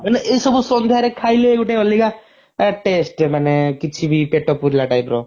ମାନେ ଏ ସବୁ ସନ୍ଧ୍ୟାରେ ଖାଇଲେ ଗୋଟେ ଅଲଗା taste ମାନେ କିଛି ବି ପେଟ ପୁରିଲା type ର